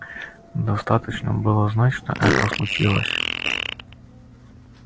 достаточно было знать что это случилось